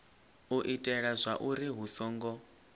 u itela zwauri hu songo